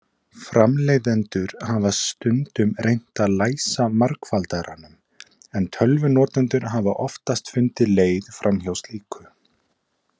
Framleiðendur hafa stundum reynt að læsa margfaldaranum, en tölvunotendur hafa oftast fundið leið framhjá slíku.